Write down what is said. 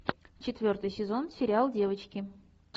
четвертый сезон сериал девочки